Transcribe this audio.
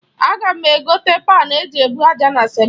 Aga m egote panu e ji ebu aja na simenti.